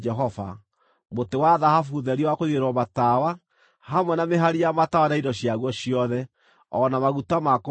mũtĩ wa thahabu therie wa kũigĩrĩrwo matawa, hamwe na mĩhari ya matawa na indo ciaguo ciothe, o na maguta ma kũmaakia;